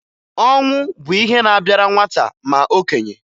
Ọnwụ bụ ihe na-abịara nwata ma okenye